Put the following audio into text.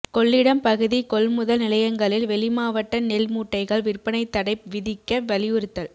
கொள்ளிடம் பகுதி கொள்முதல் நிலையங்களில் வெளி மாவட்ட நெல் மூட்டைகள் விற்பனைதடை விதிக்க வலியுறுத்தல்